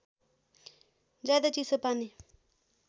ज्यादै चिसो पानी